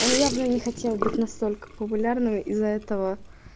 он явно не хотел быть настолько популярным из-за этого